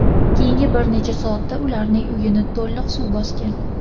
Keyingi bir necha soatda ularning uyini to‘liq suv bosgan.